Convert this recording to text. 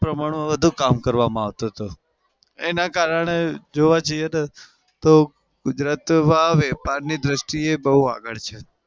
પ્રમાણમાં વધુ કામ કરવામાં આવતું હતું. એના કારણે જોવા જઈએ તો તો ગુજરાત વેપા ની દ્રષ્ટિએ બઉ આગળ છે.